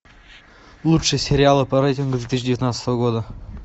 лучшие сериалы по рейтингу две тысячи девятнадцатого года